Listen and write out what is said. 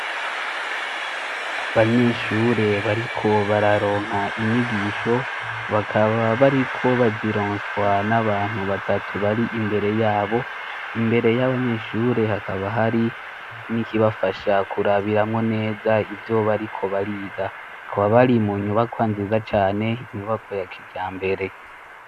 Abanyeshure bariko bararonka inyigisho, bakaba bariko bazironswa n'abantu batatu bari imbere yabo. Imbere y'abanyeshure hakaba hari n'ikibafasha kurabiramwo neza ivyo bariko bariga kaba bari mu nyubakwa nziza cane inyubakwa ya kijambere.